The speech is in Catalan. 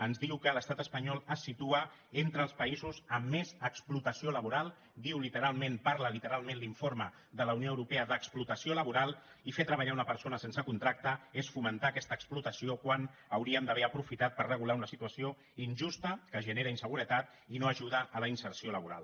ens diu que l’estat espanyol es situa entre els països amb més explotació laboral diu literalment parla literalment l’informe de la unió europea d’explotació laboral i fer treballar una persona sense contracte és fomentar aquesta explotació quan hauríem d’haver aprofitat per regular una situació injusta que genera inseguretat i no ajuda a la inserció laboral